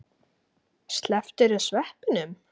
Slepptirðu sveppunum?